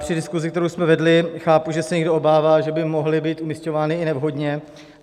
Při diskuzi, kterou jsme vedli, chápu, že se někdo obává, že by mohly být umísťovány i nevhodně.